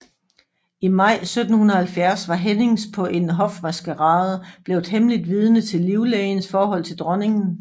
I maj 1770 var Hennings på en hofmaskerade blevet hemmeligt vidne til livlægens forhold til dronningen